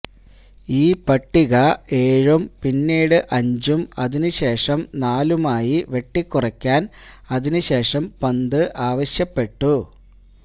ഈ പട്ടിക ഏഴും പിന്നീട് അഞ്ചും അതിന് ശേഷം നാലുമായി വെട്ടിക്കുറയ്ക്കാന് അതിന് ശേഷം പന്ത് ആവശ്യപ്പെട്ടു